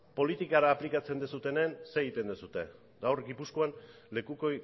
politikara aplikatzen dizutenen zer egiten duzue gaur gipuzkoan lekuko